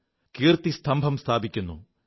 അവർ കീർത്തിസ്തംഭം സ്ഥാപിക്കുു